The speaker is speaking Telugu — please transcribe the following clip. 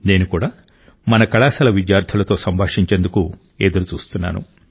నేను కూడా మన కళాశాలల విద్యార్థులతో సంభాషించేందుకు ఎదురు చూస్తున్నాను